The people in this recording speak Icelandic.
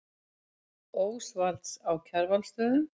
Ósvalds á Kjarvalsstöðum.